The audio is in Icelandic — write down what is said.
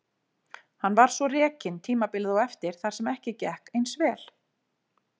Hann var svo rekinn tímabilið á eftir þar sem ekki gekk eins vel.